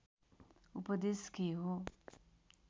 उपदेश के हो